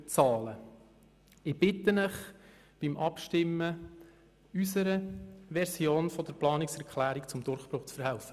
Ich bitte Sie bei der Abstimmung, unserer Planungserklärung zum Durchbruch zu verhelfen.